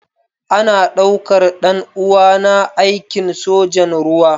Ana daukar ɗan uwana aikin sojan ruwa.